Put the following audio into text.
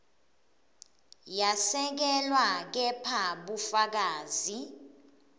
yesekelwe kepha bufakazi